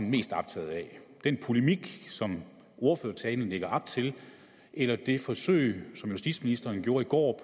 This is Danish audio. mest optaget af den polemik som ordførertalen lægger op til eller det forsøg som justitsministeren gjorde i går